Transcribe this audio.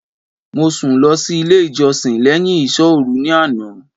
Mo sùn lọ sí ilé ìjọsìn léyìn ìsọ́òru ní àná